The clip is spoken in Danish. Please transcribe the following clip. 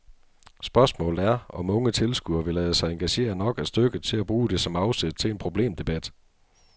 Spørgsmålet er, om unge tilskuere vi lade sig engagere nok af stykket til at bruge det som afsæt til en problemdebat.